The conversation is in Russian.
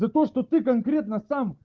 за то что ты конкретно сам